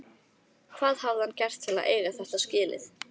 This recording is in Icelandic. Hvað hafði hann gert til að eiga þetta skilið?